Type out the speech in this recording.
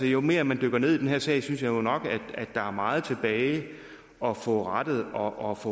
jo mere man dykker ned i den her sag synes jeg nok der er meget tilbage at få rettet op